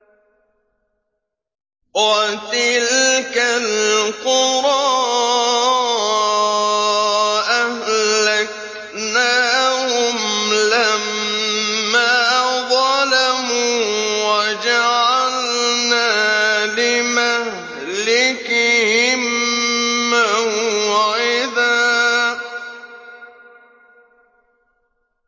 وَتِلْكَ الْقُرَىٰ أَهْلَكْنَاهُمْ لَمَّا ظَلَمُوا وَجَعَلْنَا لِمَهْلِكِهِم مَّوْعِدًا